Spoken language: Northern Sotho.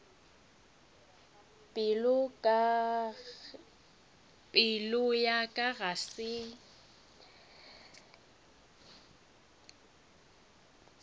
pelo ya ka ga se